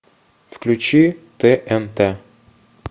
включи тнт